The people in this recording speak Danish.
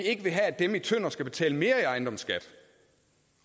ikke vil have at dem i tønder skal betale mere i ejendomsskat